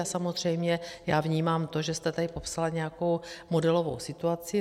A samozřejmě já vnímám to, že jste tady popsala nějakou modelovou situaci.